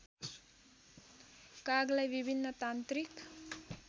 कागलाई विभिन्न तान्त्रिक